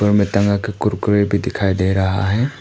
कुरकुरे भी दिखाई दे रहा है।